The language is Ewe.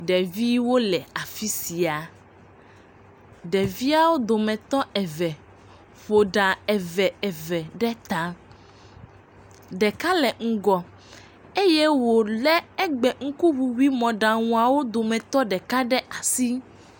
Ɖeviwo le afi sia, ɖeviawo dometɔ eve ƒo ɖa eve eve ɖe ta, ɖeka le ŋgɔ eye wòlé egbe ŋkuŋuŋui mɔɖaŋuawo dometɔ ɖeka ɖe asi.